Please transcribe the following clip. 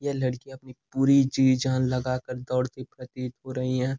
यह लडकी अपनी पूरी जी जान लगा कर दौड़ती प्रतीत हो रही हैं।